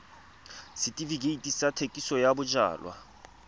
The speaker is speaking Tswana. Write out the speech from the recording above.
setefikeiti sa thekisontle ya bojalwa